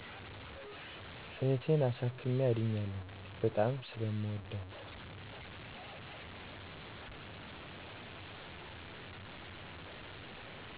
እህቴን አሳክሜ አድኛለሁ። በጣም ስለምወዳት